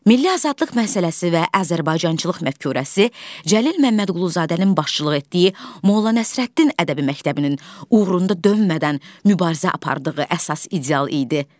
Milli azadlıq məsələsi və Azərbaycançılıq məfkurəsi Cəlil Məmmədquluzadənin başçılıq etdiyi Molla Nəsrəddin ədəbi məktəbinin uğrunda dönmədən mübarizə apardığı əsas ideal idi.